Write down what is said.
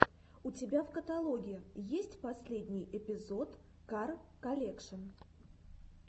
у тебя в каталоге есть последний эпизод кар колекшн